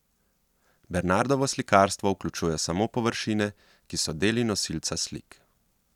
Bernardovo slikarstvo vključuje samo površine, ki so deli nosilca slik.